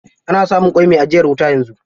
Ana samun ƙwai mai ajiyar wuta yanzu.